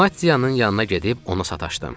Maddiyanın yanına gedib ona sataşdım.